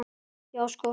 Já, sko!